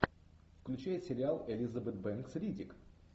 включай сериал элизабет бэнкс риддик